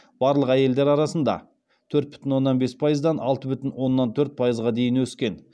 барлық әйелдер арасында төрт бүтін оннан бес пайыздан алты бүтін оннан төрт пайызға дейін өскен